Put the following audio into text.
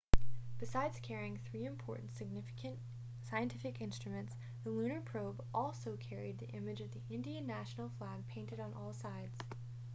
besides carrying three important scientific instruments the lunar probe also carried the image of the indian national flag painted on all sides